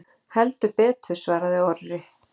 Heldur betur svaraði Orri.